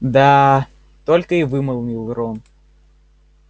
да только и вымолвил рон